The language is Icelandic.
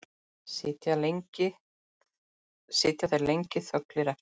Sitja þeir lengi þögulir eftir.